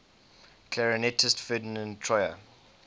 clarinetist ferdinand troyer